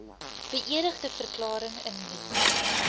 beëdigde verklaring indien